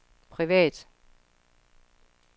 privat